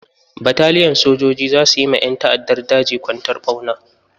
Bataliyan sojoji za su yi ma ƴan ta'addar daji kwantar ɓauna.